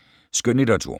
Skønlitteratur